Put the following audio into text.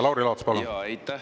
Lauri Laats, palun!